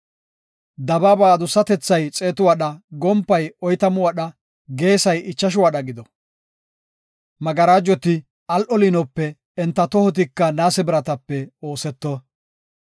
Dabaaba adussatethay xeetu wadha, gompay oytamu wadha, geesay ichashu wadha gido. Magarajoti al7o liinope, enta tohotika naase biratape ooseto.